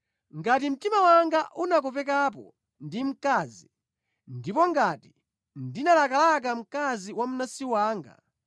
“Ngati mtima wanga unakopekapo ndi mkazi, ndipo ngati ndinalakalaka mkazi wa mnansi wanga,